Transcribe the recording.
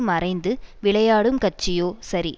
மறைந்து விளையாடும் கட்சியோ சரி